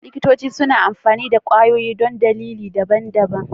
Likitoci suna amfani da kwayoyi don dalilai daban-daban.